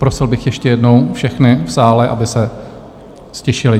Prosil bych ještě jednou všechny v sále, aby se ztišili.